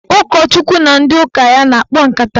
Ụkọchukwu na ndị ụka ya na-akpa nkata.